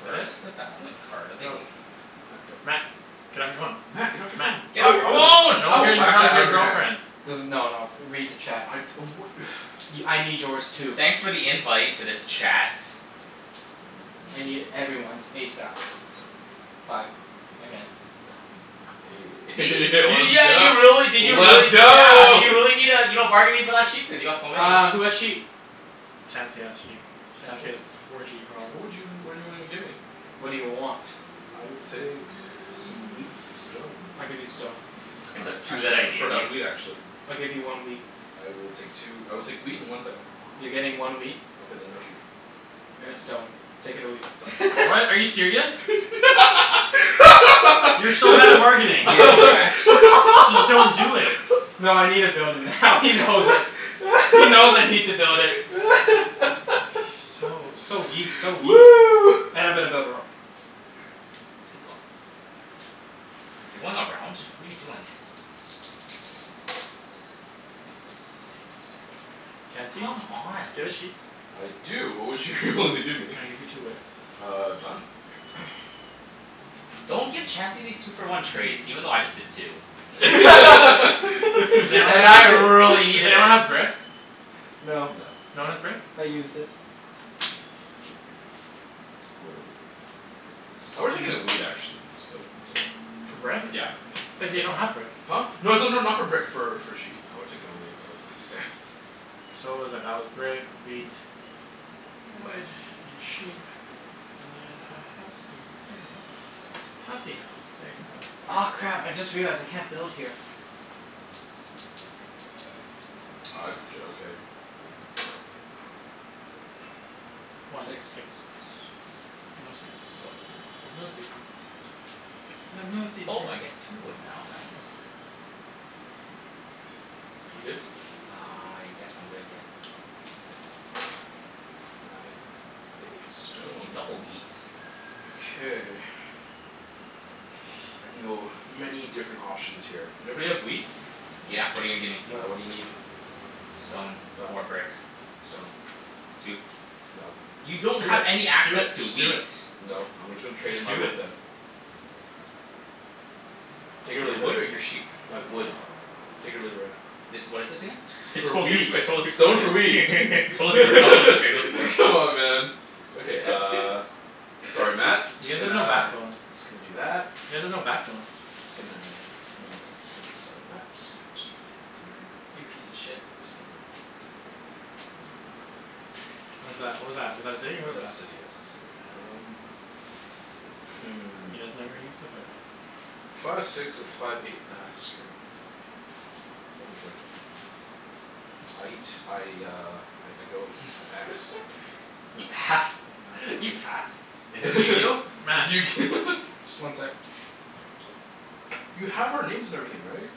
Fret? First development Yep. card of the Go. game. Matt, go. Matt. Get off your phone. Matt get off your Matt. phone. I Get off will your I will phone. No I one will cares you're whack that talking to out of your your hand. girlfriend. Doesn- no no, read the chat. I'd oh wha- Y- I need yours too. Thanks for the invite to this chat. I need everyone's ASAP. Five. Again. Let's See? You, yeah go, you really, did you really let's yeah, go did you need uh you're not bargaining for that sheep? Cuz you got so many. Uh, who has sheep? Chancey has sheep. Chancey Chancey? has four sheep What probably. would you, what do you wanna give me? What do you want? I will take some wheat and some stone. I'll give you stone. Fuckin' Uh the two that actually I I'd gave prefer to have wheat you. actually. I'll give you one wheat. I will take two, I will take wheat and one thing. You're getting one wheat. Okay then no sheep. And a stone. Take it or leave it. Done. What, are you serious? You're so bad at bargaining. Yeah, you're actu- Just don't do it. No I needa build it now he knows it. He knows I need to build it. So, so weak, so weak. And I'm gonna build a road. Let's keep going. You're going around? What are you doing? Eight. Chancey? Do you Come on. have a sheep? I do. What would you wanna give me? Can I give you two wood? Uh done. Don't give Chancey these two for one trades, even though I just did too. Does Cuz anyone And have I I really a, does needed it. anyone have brick? No. No, No one has brick? I used it. Whoa. I would've taken a wheat actually, but it's okay. For brick? I Yeah, yeah. thought you said you don't have brick. Huh? No it's not not for brick for for sheep, I would have taken a wheat but it's okay. So what was that? That was brick, wheat. Wood and sheep. And then a housey right there. Housey house. Housey house. There you go. Aw crap, I just realized I can't build here. Uh d- okay. One. Six. Six. No six. Wood. I have no sixes. I have no Oh I seizures. get two wood now, nice. You good? I guess I'm good, yeah. Nine, hey, Hey, stone. double wheat. Okay. I can go many different options here. Everybody have wheat? Yeah, what're you gonna give me? Uh what do you Nope. need? Stone Done. or brick. Stone. Two. Nope. You Do it, don't have any just do it, access to just do wheat. it. Nope, I'm gonna tra- trade in Just my do wood it. then. Take it or Your leave it. wood or your sheep? My wood. Take it or leave it right now. This, what is this again? I For totally forg- wheat. Stone for wheat I totally forgot what this trade was for. Come on man. Okay uh, sorry Matt, You Just guys have gonna, no just backbone. gonna do that. You guys have no backbone. Just gonna just gonna just gonna, sorry Matt, just gonna put that right there. You piece of shit. Just gonna do it right there right there. What is that? What was that? Was that a city? What That's was a that? city, yes, a city. Um Hmm. He doesn't know where he needs to put it. Five six or five eight, ah screw it, I guess I'ma put it here. Guess I'm gonna, no big deal. Aight. I uh I go, I pass. You Matt, pass? Matt go, You pass? Is this your Matt. turn Just one sec. You have our names and everything right?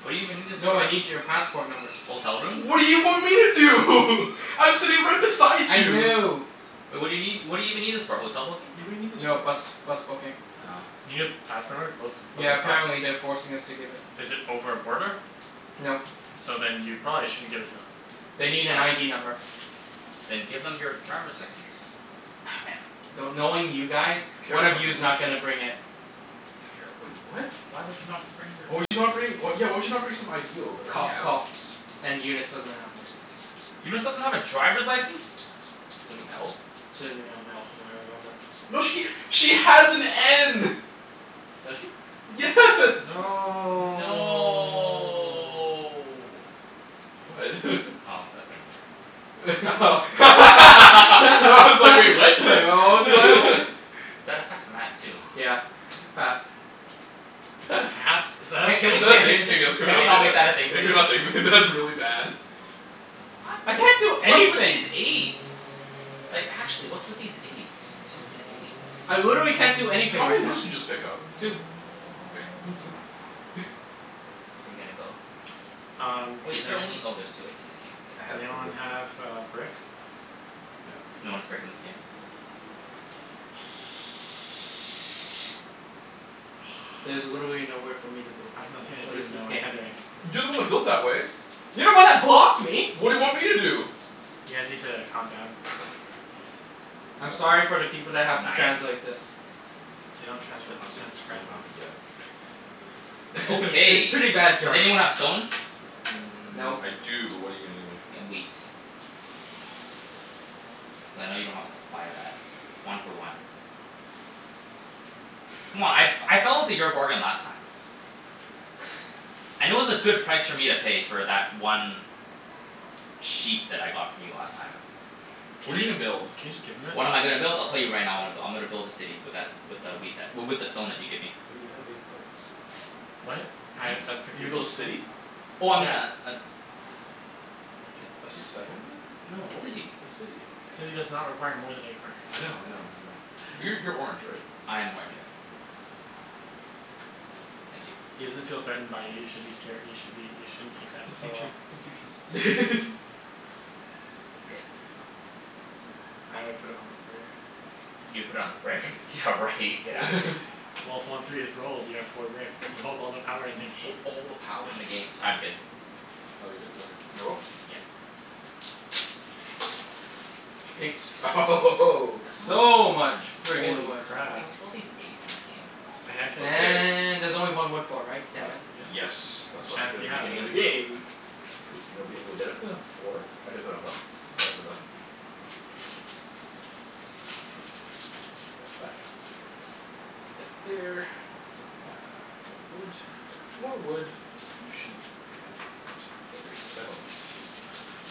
What do you even need this for? No, I need your passport numbers. Hotel room? What do you want me to do? I'm sitting right beside I you. know. Wai- what do you nee- what do you even need this for? Hotel booking? Yeah, what do you need this No, for? bus bus booking. Oh. You need a passport number to book, book Yeah, a bus? apparently they're forcing us to give it. Is it over a border? Nope. So then you probably shouldn't give it to them. They need an ID number. Then give them your driver's license. Not ever- do- knowing you guys, Care one of card you's not number. gonna bring it. Care, wait what? Why would you not bring your Why would you not driver's li- bring, yeah why would you not bring some ID over? Cough Yeah. coughs and Eunice doesn't have one. Eunice doesn't have a driver's license? She doesn't have an L? She doesn't even have an L from what I remember. No she, she has an N. Does she? Yes. Hmm. No No What? Oh, that number. Oh I Like was like "wait, what?" what was going on? That affects Matt too. Yeah, pass. Pass. Pass? Is Is that a that Ca- thing? Can can we ca- we a not, can we Can not we say not make that that? a thing Yeah please? can we not? That's really bad. I can't do What's with anything. these eights? Like actually, what's with these eights? Stupid eights. I literally can't do anything How right many now. woods did you just pick up? Two. Oh okay, I was like Are you gonna go? Um, Wait, does is there only, anyone oh there's two eights in the game. I Does has the anyone have K, a brick? No. No one has brick in this game. Nope. There's literally nowhere for me to build I have anymore. nothing to What do. is No, this I game? can't do anything. You're the one that built that way. You're the one that blocked me. What do you want me to do? You guys need to calm down. I'm sorry for the people that have to Nine? translate this. They don't You translate. don't have Just to you transcribe don't it. have to, yeah. It's Okay, pretty bad does jerk. anyone have stone? Mmm, Nope. I do but what're you gonna give me? Y- wheat. Cuz I know you don't have a supply of that. One for one. C'mon, I f- I fell into your bargain last time. And it was a good price for me to pay for that one sheep that I got from you last time. Can What are you you just, gonna build? can you just give him it? What am I gonna build? I'll tell you right now I'm go- I'm gonna build a city with that, with a wheat that w- with the stone that you give me. But you have eight cards. What? Uh that's What? You're gonna confusing. build a city? Oh I mean a Yeah. a s- A a ci- settlement? no a What? city. A city. City does not require more than eight cards I know I know I know. Uh Yeah. you're you're orange right? I am orange, yeah. Okay, I'm out. Thank you. He doesn't feel threatened by you, you should be scare- you should be, you shouldn't take that Fuck so you Chan- well. fuck you Chancey. K. I would put it on the brick. You put on the brick? Yeah right, get out of here. Well, if one three is rolled you have four brick. You hold all the power in the Hold game. all the power in the game. I'm good. Oh you're good? Okay, can I roll? Yeah. Eight. Eight Come So much on. Yeah friggin' Holy wood. crap. what's with all these eights in this game? A handshake. Okay. And there's only one wood port, right? Uh Damn it. yes, Yes and that's why I took it at Chancey the has beginning of the it. game. Because nobody, wait, did I put down four? I did put down f- sorry my bad. Um so that's that. And put that there. And then uh more wood, more wood, sheep and that for a settlement.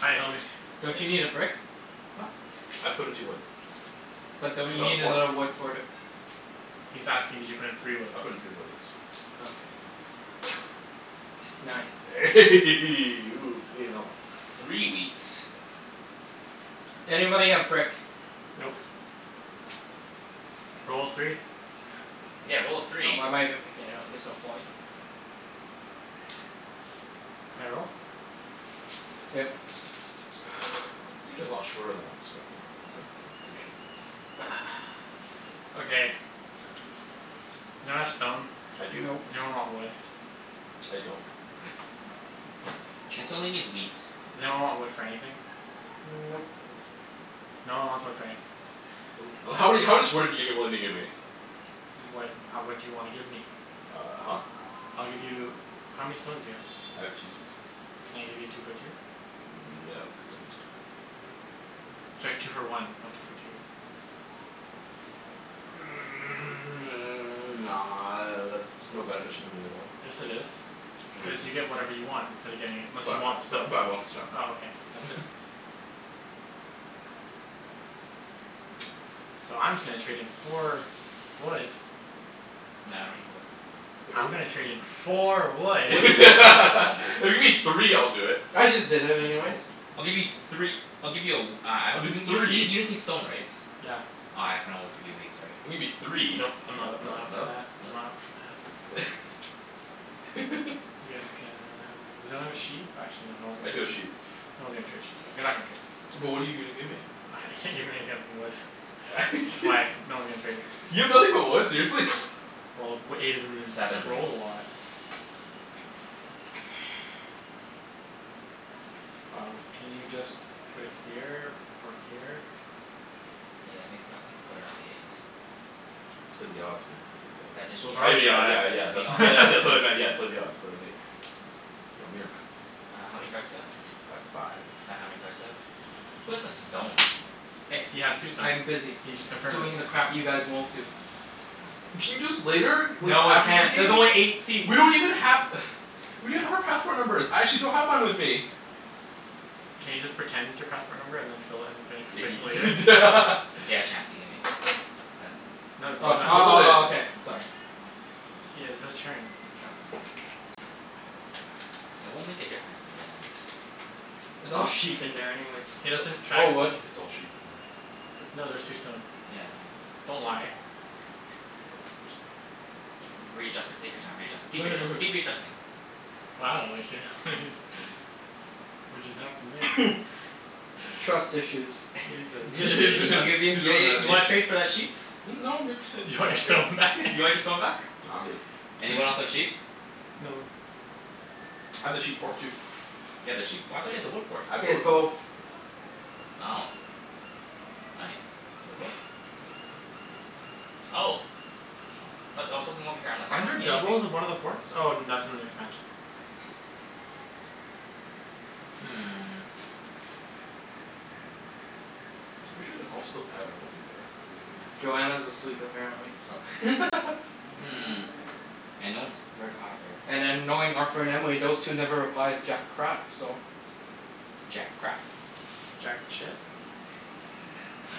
Hi, homie. Don't you that need a brick? Huh? I put in two wood. But don't Cuz you I have need a port. another wood for the He's asking did you put in three wood? I put in three wood, yes. Okay. Nine. Ooh, payin' off. A three wheat. Anybody have brick? Nope. Nope. Roll a three. Yeah, roll a Oh, three. why am I even picking it up? There's no point. Can I roll? Yep. This game's taking a lot shorter than I expected, you know? Hey, three sheep. Okay. Does anyone have stone? I do. Nope. Does anyone want wood? I don't. Chancey only needs wheat. Does anyone want wood for anything? Nope. Nope. No one wants wood for anything. Nope. And how many, how much wood are you giving, willing to give me? What, ha- what do you wanna give me? Uh huh. I'll give you, how many stones do you have? I have two stones. Can I give you two for two? No, because I just did that. Sorry, two for one, not two for two. Nah, that's no beneficial to me at all. Yes it is, No cuz you get dude. whatever you want instead of getting it, unless you But uh want the stone. bu- but I want the stone Oh okay, that's different. So I'm just gonna trade in four wood No, I don't need wood. If you're I'm go- gonna trade in four wood. Wood If is so plentiful man. you give me three I'll do it. I just did it anyways. Nope. I'll give you three I'll give you a w- uh I I'll don- do y- you just need, three. you just need stone right? Yeah. Uh I can only give you wheat, sorry. Gimme three. No Nope. I'm not, no I'm not up for no that, I'm no. not up for that. Yes can, does anyone have a sheep? Actually no, no one's I gonna do trade have sheep. sheep. No one's gonna trade sheep though, you're not gonna trade. But what're you gonna give me? I can't give you anything other than wood. That's why no one's gonna trade it. You have nothing but wood, seriously? Well, w- eight has been ris- Seven. Seven rolled a lot. Um, can you just put it here or here? Yeah, makes more sense to put it on the eight. Play the odds man, play the odds. That is the So those are I odds. mea- the yeah Yeah, yeah that is yeah, the that's odds. wha- odds. that's what I meant, yeah, play the odds, put it on eight. Want me or Matt? Uh how many cards do you have? I have five. Matt, how many cards do you have? Who has the stone? Hey, He has two stone. I'm busy He just confirmed it. doing the crap you guys won't do. Can you do this later? W- No, I after the can't. game? There's only eight seats. We don't even have We don't have our passport numbers. I actually don't have mine with me. Can you just pretend your passport number and then just fill it, and fill, Yeah can fix it later? you prete- Yeah, Chancey, give me a card. Uh No Uh t- Why he's oh would you not. roll oh it? oh okay, sorry. He has his turn. It won't make a difference in the end. It's all sheep in there anyways. He It's like, doesn't it's track Or wood. it's it's all sheep in there. No there's two stone. Yeah, I know. Don't lie. No I'm just You can, readjust it, take your time readjust- keep readjust- keep readjusting. Wow What just happened there? Trust issues. You guys have, you guys Yeah have he's issues. I'll really, give in he's yeah really yeah mad at you me. wanna trade for that sheep? Hmm? No, I'm good. You You want wanna your trade? stone back? You wanna get stone back? Nah, I'm good. Anyone else have sheep? No. No. I have the sheep port too. You have the sheep p- I thought you had the wood port? I have He has both both. now. Oh nice. Wait what? Oh. Aw but I was looking over here I'm like "I Aren't don't there see anything." doubles of one of the ports? Oh that's in the expansion. Hmm. I'm pretty sure they're all still out. I don't think they're gonna be home right now. Joanna's asleep apparently. Oh Hmm, and no one has brick either. And then knowing Arthur and Emily, those two never reply to jack crap so. Jack crap. Jack shit?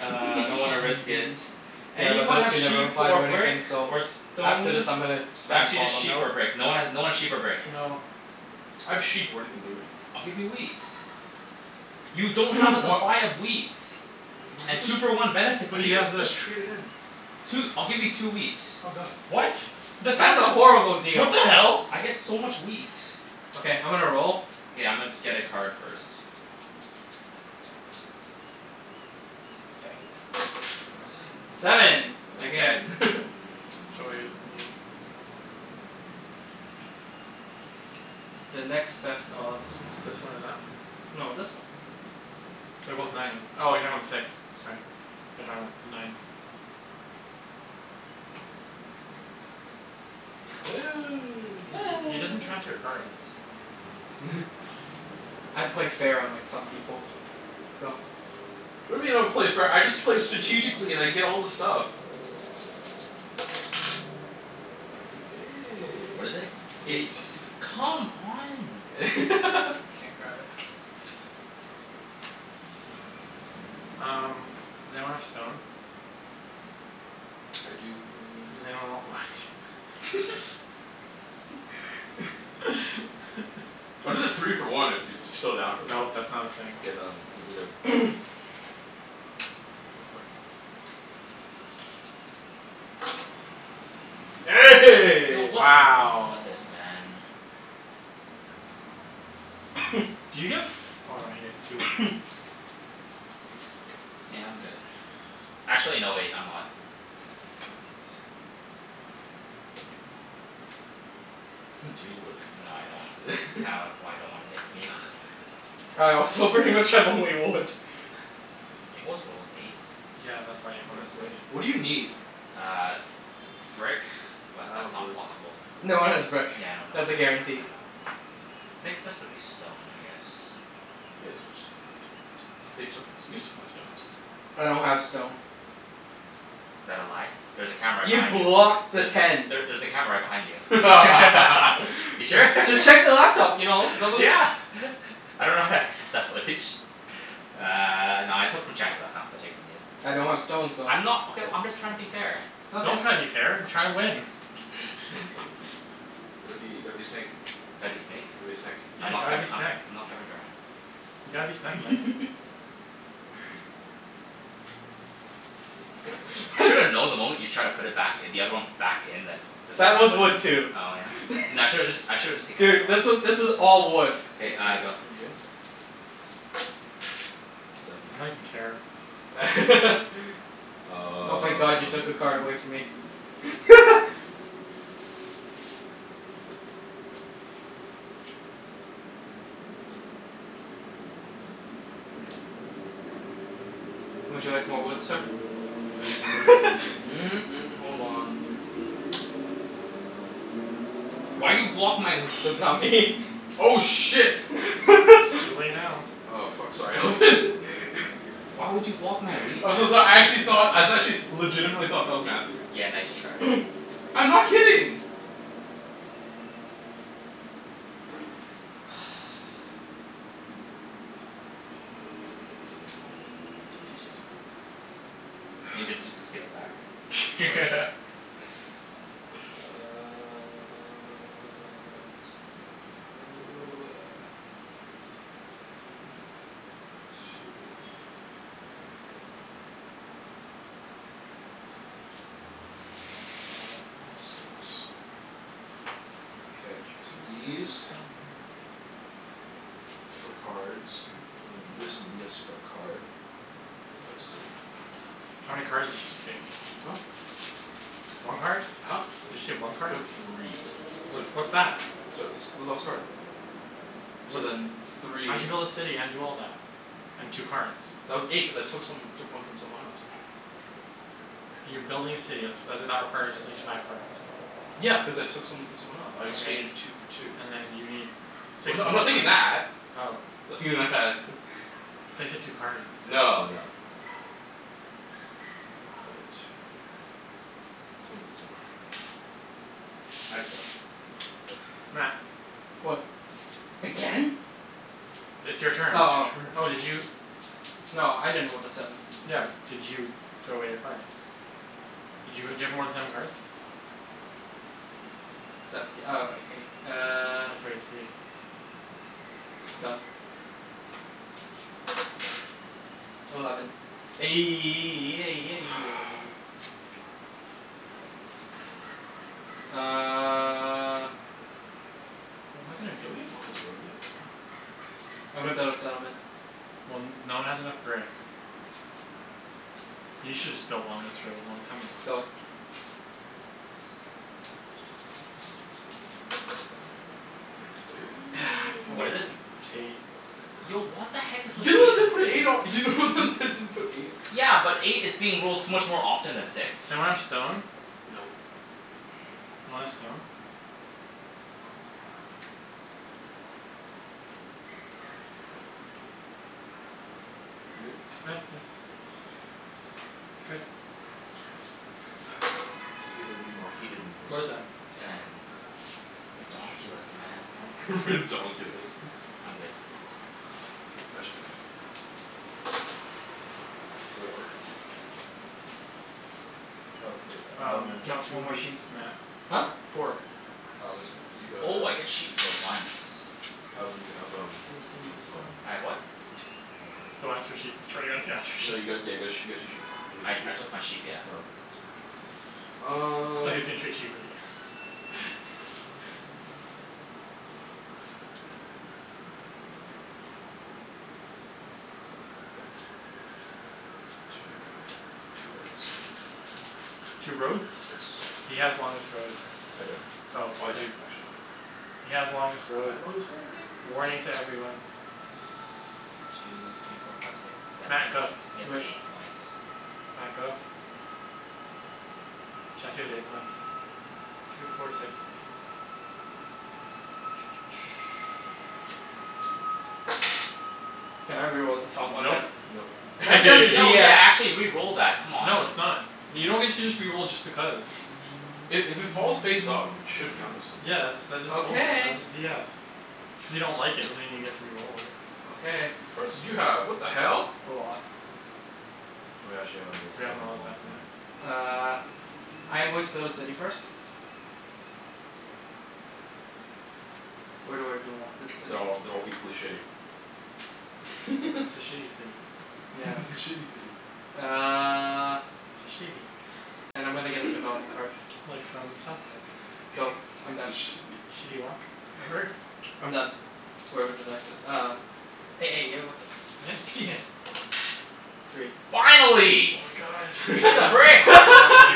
Uh I don't wanna risk it. Yeah, but Anyone those have two never sheep reply or to brick anything so or after this stone? I'm gonna N- spam actually call just them. sheep or Nope. brick. No one has, no one's sheep or brick. No. I have sheep, but what're you gonna give me? I'll give you wheat. You don't have a Wha- supply of wheat. I could And just, two for one benefits I But he could you. jus- has this. just trade it in. Two, I'll give you two wheat. Oh done. What? That's not That's a eno- horrible What deal. the hell? I get so much wheat. Okay, I'm gonna roll. K, I'ma get a card first. K. Fours in. Seven, again. Again Joy is me. The next best odds. It's this one or that one. No, this one. They're The both last nine. turn. Oh you're talking about the six, sorry. Thought you're talking about the nines. He doesn't track your cards. I play fair, unlike some people. Go. What do you mean I don't play fair? I just play strategically and I get all the stuff. What is it? Eight. Eight. Come on, man. Can't grab it. Um, does anyone have stone? I do, what are you gonna give Does me? anyone want wood? I'll do the three for one if you're still down for that. Nope, that's not a thing. K, then I'm good. Go for it. Yo, The what's wrong Wow. with this man? Do you get f- oh you get two wood. Yeah, I'm good. Actually no wait, I'm not. Knight. Do Huh. you need wood? No I don't. Kinda why I don't wanna take from you. All right, so pretty much I have only wood. It was rolled, eight. Yeah, that's Well, why everyone has it's wood. eight. What do you need? Uh brick, but I don't that's have not brick. possible with, No one has brick. yeah I know no That's one a has, guarantee. I know. Next best would be stone, I guess. He has more stone than I do. They took my st- you took my stone. I don't have stone. Is that a lie? There's a camera right You behind you. blocked the There's, ten. there there's a camera right behind you. You sure? Just check the laptop you know? Don't beli- Yeah I dunno how to access that footage. Uh no I took from Chancey last time so I'll take from you. I don't have stone so I'm not, okay well I'm just tryin' to be fair. Don't Okay. try to be fair. Try to win Gotta be, gotta be snake. Gotta be snake? Gotta be a snek. Yeah, I'm not gotta be Kevi- I'm snek. not Kevin Durant. You gotta be snek man. I should have known the moment you tried to put it back i- the other one back in that This That was was a whiff. wood too. Oh yeah? N- I shoulda just I should've just taken another Dude, one. this was this is all wood. Are K, you are uh you go. are you good? Okay. Seven. I don't even care. Oh thank god you took a Um card away from me. Would you like more wood, sir? hold on. Why you block my That's not wheat? me. Oh shit. It's too late now. Oh fuck, sorry Alvin. Why would you block my wheat, man? I'm so so- I actually thought, I actually legitimately thought that was Matthew. Yeah, nice try. I'm not kidding. That's useless. If it's useless give it back. Uh let's go One two three four Five six, K, these for cards and then this and this for a card. For a city. How many cards did you just take? Huh? One card? Huh? You just take one I card? took three What so what's that? So this this last card. So What then di- , how'd you three build a city and do all that? And two cards? That was eight, cuz I took some, took one from someone else. You're building a city. That's that that requires at least five cards. Yeah, cuz I took some from someone else. I Okay, exchanged two for two. and then you need Well six no, I'm more not thinking cards. that. Oh. I'm thinking that. I thought you said two cards. No no no. I will put it right here. Someone please roll a five. I'd suck. Oh well. Matt. What? Again? It's your turn. Oh It's your oh. turn Oh did you No, I didn't roll the seven. Yeah, but did you throw away your cards? Did you ha- do you have more than seven cards? Seventh th- oh wai- eight. Uh throw away three One. Done. Eleven. Fu- Uh What am I gonna do? Don't we have longest road yet? Damn. I'm gonna build a settlement. Well n- no one has enough brick. You shoulda just built longest road long time ago. Go. Eight More What is it? fucking wood. Eight. Mo- fucking Yo road. what the heck is You're with the one that eight in didn't put this an eight on, you're the only one game? that didn't put an eight on. Yeah, but eight is being rolled so much more often than six. Does anyone have stone? Nope Want a stone? You good? Good. Figured it'd be more heated than What is this. that? Ten. Ten. Ridonkulus man. Ridonkulus. I'm good. K, my turn. Four. Oh hey uh Um Alvin. get No, two one more woods, sheep. Matt. Huh? Four? Four. Alvin, Sweet. you got uh Oh I get sheep for once. Alvin you have um what's it called I have what? Don't ask for uh sheep. I swear to god if you ask for No you sheep. got, yeah got a you got two sheep. Did you get I two sheep? I took my sheep, yeah. Oh okay, just making sure. Um Thought he was gonna trade sheep with you Two for two roads. Two roads? Yes. He has longest road. I don't. Oh Oh I then do, actually. He has longest road. I have longest road, yay! Warning to everyone. Two three four five six seven Matt, eight, go. you have Wait. eight points. Matt, go. Chancey has eight points. Two four six eight. Can I re-roll the top one Nope. then? Nope That that's Yo yeah, BS. actually re-roll that, come on. No it's not. You don't get to just re-roll just because. I- if it falls face up it should count as something. Yeah that's, that's just balder- Okay. that's just BS. Just because you don't like it doesn't mean you get to re-roll it. Okay. How many cards did you have? What the hell? A lot. Oh yeah, actually haven't rolled We haven't seven in rolled a a while, seven, yeah. no. Uh I am going to build a city first. Where do I even want this city? They're all, they're all equally shitty. It's a shitty city. It's a Yes. shitty city. Uh It's a shitty And I'm gonna get a development card. Like from South Park. Go, I'm It's a done. shitty. Shitty Wok? Remember? I'm done, wherever the dice is. Um. You're looking. I didn't see it. Three. Finally. Oh my god. Gimme I the know. brick. I'm so happy.